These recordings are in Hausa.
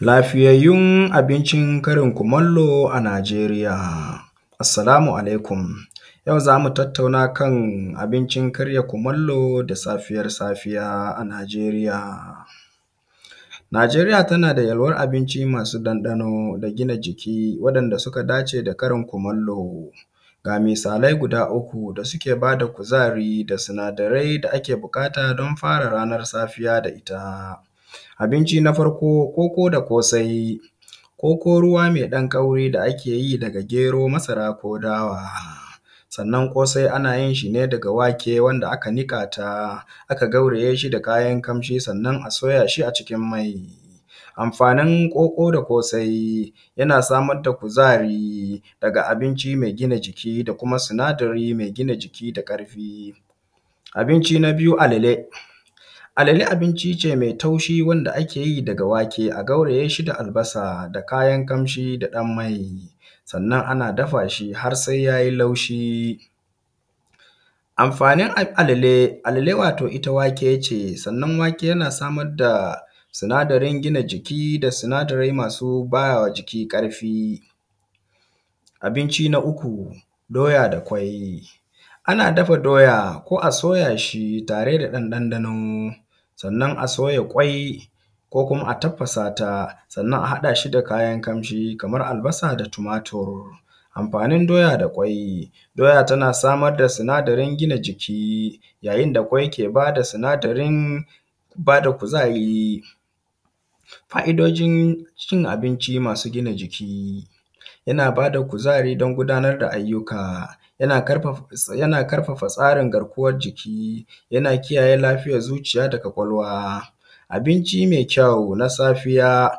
Lafiyayyun abincin Karin kumallo a nijeriya. Assalamu alaikum yau zamu tattauna kan abincin Karin kumallo da safiyar safiya a nijeriya. Najeriya tanada yalwan abinci masu ɗan ɗano da gina jiki, wanda suka dace da karya kumallo. Ga misalai guda uku da suke bada kuzari da sinadarai na ake buƙata dan ranan safiya da itta. Abinci na farko koko da kosai, koko ruwa da akeyi da gero, masara ko dawa. Sannan kosai anayin shine daga wake wanda aka niƙata aka gaurayeshi da kayan kamshi sanna a soyashi a cikin mai. Amfanin koko da kosai yana samarda kuzari daga abinci mai gina jiki da kuma sinadari mai gina jiki da ƙarfi. Abinci na biyu alale, alale a binci ce mai taushi wanda akeyi daga wake a gaurayashi da albasa da kayan kamshi da ɗan mai, sannan ana dafashi harsai yayi laushi. Amfanin alale, alale wato itta wakece sannan wake yana samar da sinadarin gina jiki, da sinadari masu bawa jiki ƙarfi. Abinci na uku doya da kwai, anna dafa doya ko a soyashi tare da ɗan ɗano sannan a soya kwai ko kuma a tafasata sannan a haɗashi da kayan kamshi Kaman albasa da tumatur. Amfanin doya da kwai doya tana samar da sinadarin gina jiki yayin da kwai ke bada sinadin bada kuzari. Ƙa’idojincin abinci masu gina jiki. Yana bada kuzari dan gudanar da ayyuka, yana ƙarfafa tsarin garkuwan jiki, yana kiyaye lafiyar zuciya da kwakwalwa. Abinci mai kyau na safiya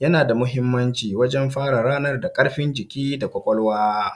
yanada mahimmanci wajen fara ranar da ƙarfi da kwakwalwa.